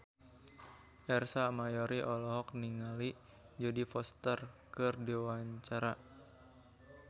Ersa Mayori olohok ningali Jodie Foster keur diwawancara